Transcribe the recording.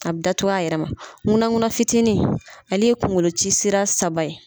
A bɛ datugu a yɛrɛ ma, nkuna nkuna fitiinin , ale ye kungolo ci sira saba ye.